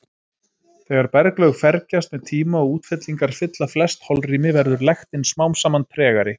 Þegar berglög fergjast með tíma og útfellingar fylla flest holrými verður lektin smám saman tregari.